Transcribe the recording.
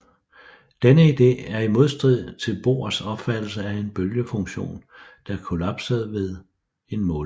Denne ide er i modstrid til Bohrs opfattelse af en bølgefunktion der kollapsede ved en måling